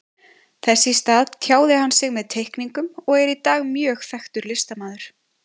Þess í stað tjáði hann sig með teikningum og er í dag mjög þekktur listamaður.